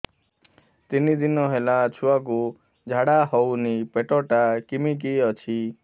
ତିନି ଦିନ ହେଲା ଛୁଆକୁ ଝାଡ଼ା ହଉନି ପେଟ ଟା କିମି କି ଅଛି